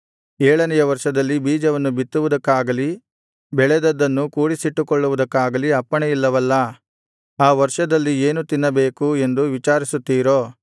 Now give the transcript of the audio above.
ಏಳನೆಯ ವರ್ಷದಲ್ಲಿ ಬೀಜವನ್ನು ಬಿತ್ತುವುದಕ್ಕಾಗಲಿ ಬೆಳೆದದ್ದನ್ನು ಕೂಡಿಸಿಟ್ಟುಕೊಳ್ಳುವುದಕ್ಕಾಗಲಿ ಅಪ್ಪಣೆ ಇಲ್ಲವಲ್ಲಾ ಆ ವರ್ಷದಲ್ಲಿ ಏನು ತಿನ್ನಬೇಕು ಎಂದು ವಿಚಾರಿಸುತ್ತೀರೋ